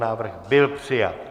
Návrh byl přijat.